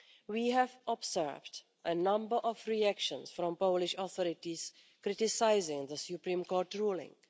We have observed a number of reactions from the Polish authorities criticising the Supreme Court ruling.